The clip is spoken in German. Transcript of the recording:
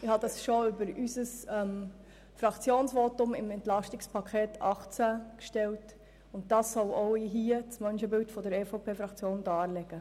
Ich habe sie bereits in unserem Fraktionsvotum zum EP 2018 erwähnt, und sie sollen auch hier für das Menschenbild der EVP-Fraktion stehen.